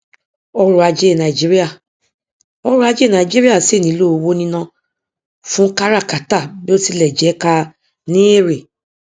ọrọ ajé nàìjíríà ọrọ ajé nàìjíríà síì nílò owó níná fún káràkátà bí ó tilẹ jẹ ká ní èrè